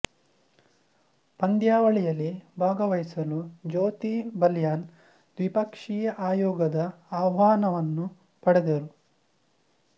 ಪಂದ್ಯಾವಳಿಯಲ್ಲಿ ಭಾಗವಹಿಸಲು ಜ್ಯೋತಿ ಬಲಿಯಾನ್ ದ್ವಿಪಕ್ಷೀಯ ಆಯೋಗದ ಆಹ್ವಾನವನ್ನು ಪಡೆದರು